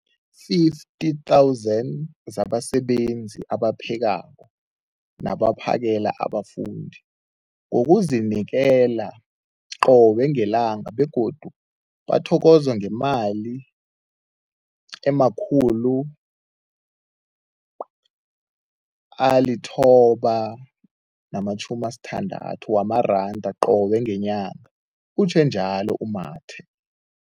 50 000 zabasebenzi abaphekako nabaphakela abafundi ngokuzinikela qobe ngelanga, begodu bathokozwa ngemali ema-960 wamaranda qobe ngenyanga, utjhwe njalo u-Mathe.